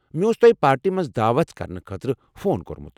مےٚ اوس تۄہہ پارٹی منٛز دعوت کرنہٕ خٲطرٕ فون کوٚرمُت۔